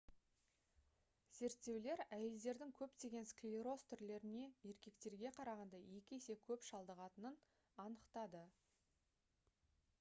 зерттеулер әйелдердің көптеген склероз түрлеріне еркектерге қарағанда екі есе көп шалдығатынын анықтады